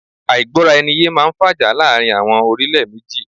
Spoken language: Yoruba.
Àìgbọ́ra ẹni yé máá ń fàjà láàrin àwọn orílẹ̀ méjì